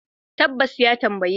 Tabbas, ya tambaye ni.